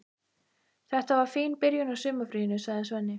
Þetta var fín byrjun á sumarfríinu, sagði Svenni.